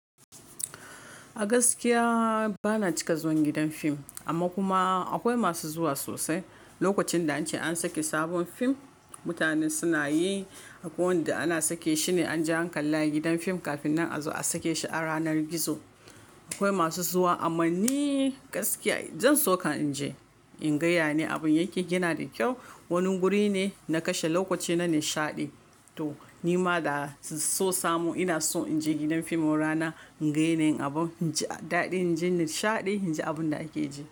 A gaskiya bana cika zuwan gidan fim amma kuma akwai masu zuwa sosai. Lokacin da an ce an sake sabon fim mutane suna yi. Akwai wanda ana sake shi ne an je an kalla a gidan fim kafin nan a zo a sake shi a ranar gizo. Akwai masu zuwa amma ni gaskiya zan so ka in je in ga yane abun yake gina da kyau. Wani wuri ne na kashe lokaci na nishaɗi. To ni ma da so samu ina so in je gidan fim wurana in ga yane abun. In ji daɗi, in ji nishaɗi, in ji abun da ake ji.